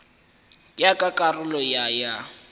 ya ka karolo ya ya